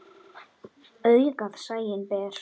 Augað sæinn ber.